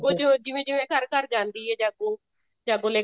ਚ ਜਿਵੇਂ ਜਵੇਂ ਘਰ ਘਰ ਜਾਂਦੀ ਹੈ ਜਾਗੋ ਜਾਗੋ ਲੈ ਕੇ